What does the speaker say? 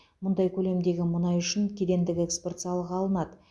мұндай көлемдегі мұнай үшін кедендік экспорт салығы алынады